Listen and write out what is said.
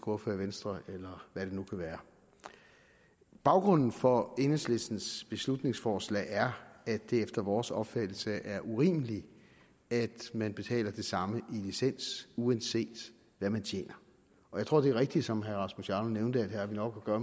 ordfører i venstre eller hvad det nu kan være baggrunden for enhedslistens beslutningsforslag er at det efter vores opfattelse er urimeligt at man betaler det samme i licens uanset hvad man tjener jeg tror at det er rigtigt som herre rasmus jarlov nævnte at vi nok her